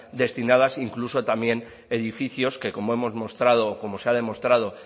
destinadas incluso también edificios que como hemos mostrado como se ha demostrado